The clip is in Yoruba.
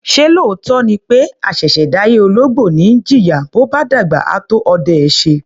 Ṣé lóòótọ́ ni pé àṣẹ̀ṣẹ̀ dáyé ológbò ni í jìyà, bó bá dàgbà, á tó ọdẹ ẹ́ ṣe?